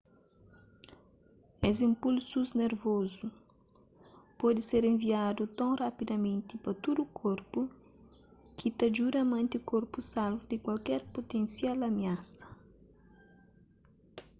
es inpulsus nervozu pode ser enviadu ton rapidamenti pa tudu korpu ki ta djuda mante korpu salvu di kualker putensial amiasa